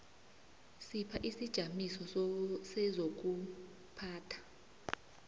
sipha isijamiso sezokuphatha